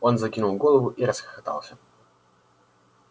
он закинул голову и расхохотался